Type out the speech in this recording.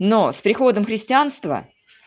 но с приходом христианства